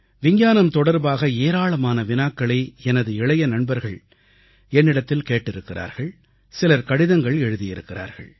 விஞ்ஞானம் தொடர்பாக ஏராளமான வினாக்களை எனது இளைய நண்பர்கள் என்னிடத்தில் கேட்டிருக்கிறார்கள் சிலர் கடிதங்கள் எழுதியிருக்கிறார்கள்